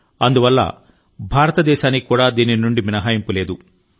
అందువల్ల భారతదేశానికి కూడా దీని నుండి మినహాయింపు లేదు